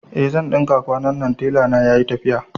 Eh zan ɗinka kwanannan, tela na yayi tafiya